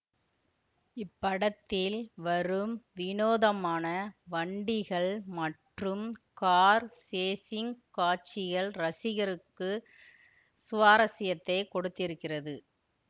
இப்படத்தில் வரும் வினோதமான வண்டிகள் மற்றும் கார் சேஷிங் காட்சிகள் ரசிகருக்கு சுவாரசியத்தை கொடுத்திருக்கிறது